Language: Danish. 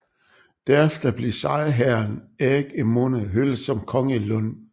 Derefter blev sejrherren Erik Emune hyldet som konge i Lund